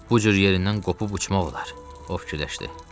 Bu cür yerindən qopub uçmaq olar, o fikirləşdi.